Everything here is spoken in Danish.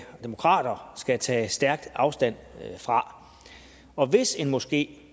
og demokrater skal tage stærkt afstand fra og hvis en moské